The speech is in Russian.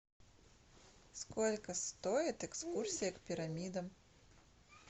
сколько стоит экскурсия к пирамидам